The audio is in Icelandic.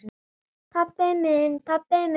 Pabbi minn, pabbi minn!